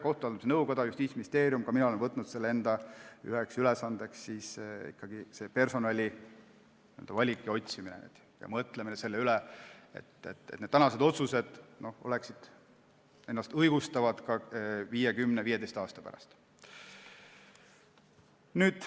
Kohtute haldamise nõukoda ja Justiitsministeerium on võtnud ja ka mina olen võtnud selle enda üheks ülesandeks: personali valik ja otsimine, mõtlemine selle üle, et tänased otsused õigustaksid ennast ka viie, kümne ja viieteistkümne aasta pärast.